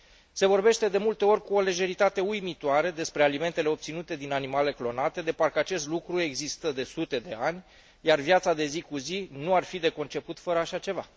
Se vorbește de multe ori cu o lejeritate uimitoare despre alimentele obținute din animale clonate, de parcă acest lucru există de sute de ani, iar viața de zi cu zi nu ar fi de conceput fără așa ceva.